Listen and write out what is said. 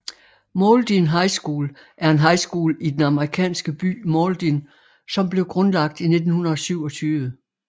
Mauldin High School er en high school i den amerikanske by Mauldin som blev grundlagt i 1927